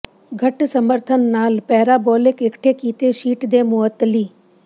ਘੱਟ ਸਮਰਥਨ ਨਾਲ ਪੈਰਾਬੋਲਿਕ ਇਕੱਠੇ ਕੀਤੇ ਸ਼ੀਟ ਦੇ ਮੁਅੱਤਲੀ